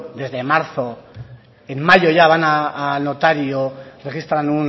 desde marzo en mayo ya van al notario registran